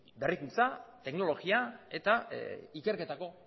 berrikuntza teknologia eta ikerketako